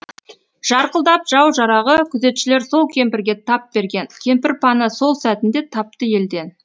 жарқылдап жау жарағы күзетшілер сол кемпірге тап берген кемпір пана сол сәтінде тапты елден